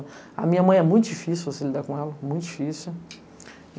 A minha mãe é muito difícil você lidar com ela, muito difícil.